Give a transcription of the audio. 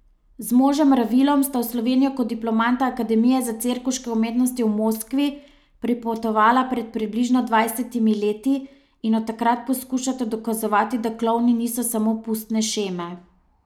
Z možem Ravilom sta v Slovenijo kot diplomanta Akademije za cirkuške umetnosti v Moskvi pripotovala pred približno dvajsetimi leti in od takrat poskušata dokazovati, da klovni niso samo pustne šeme.